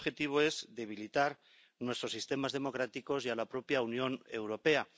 Y ese objetivo es debilitar nuestros sistemas democráticos y a la propia Unión Europea.